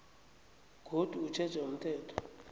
godu utjheja umthetho